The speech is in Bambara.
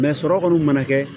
sɔrɔ kɔni mana kɛ